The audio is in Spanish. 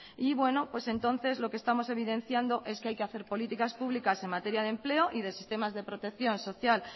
y bueno pues entonces lo que estamos evidenciando es que hay que hacer políticas públicas en materia de empleo y de sistemas de protección social